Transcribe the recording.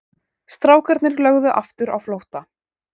Strákarnir lögðu aftur á flótta.